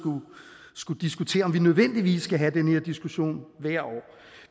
skulle diskutere om vi nødvendigvis skulle have den her diskussion hvert år